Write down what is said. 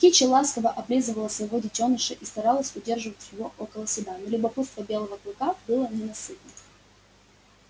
кичи ласково облизывала своего детёныша и старалась удержать его около себя но любопытство белого клыка было ненасытно